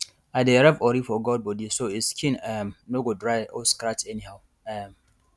i dey rub ori for goat body so e um skin um no go dey dry or scratch anyhow um